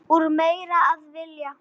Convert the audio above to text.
Úr meiru að velja!